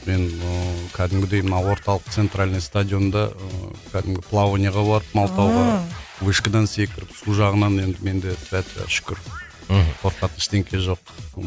мен ыыы кәдімгідей мына орталық центральный стадионда ыыы кәдімгі плаванияға барып малтауға ыыы вышкадан секіріп су жағынан енді менде тфа тфа шүкір мхм қорқатын ештеңе жоқ